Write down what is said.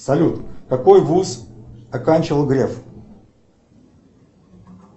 салют какой вуз оканчивал греф